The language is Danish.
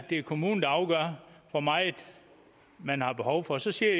det er kommunen der afgør hvor meget man har behov for så siger